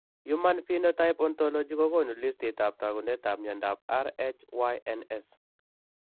Human phenotype ontology kokoonu listiitab taakunetaab myondap RHYNS.